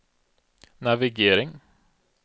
navigering